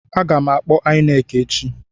Aga m akpọ INEC echi.